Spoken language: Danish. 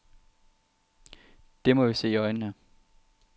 Det må vi se i øjnene.